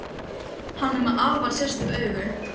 Hann er með afar sérstök augu.